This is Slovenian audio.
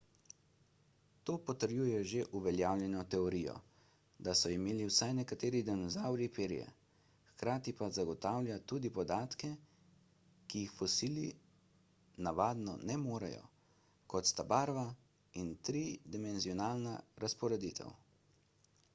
to potrjuje že uveljavljeno teorijo da so imeli vsaj nekateri dinozavri perje hkrati pa zagotavlja tudi podatke ki jih fosili navadno ne morejo kot sta barva in tridimenzionalna razporeditev